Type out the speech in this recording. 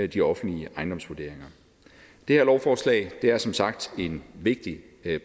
de offentlige ejendomsvurderinger det her lovforslag er som sagt en vigtig